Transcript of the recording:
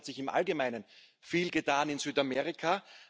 es hat sich im Allgemeinen viel getan in Südamerika.